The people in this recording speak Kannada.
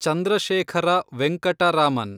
ಚಂದ್ರಶೇಖರ ವೆಂಕಟ ರಾಮನ್